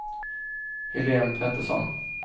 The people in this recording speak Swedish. Helene Petersson